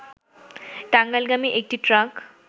টাঙ্গাইলগামী একটি ট্রাক